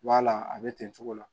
B'a la a bɛ ten cogo la